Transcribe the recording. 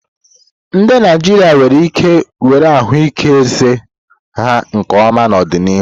Ndị Naijiria nwere ike were ahụike eze ha nke ọma n'ọdịnihu.